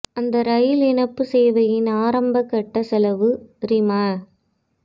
அந்த ரயில் இணைப்பு சேவையின் ஆரம்பக் கட்ட செலவு ரிம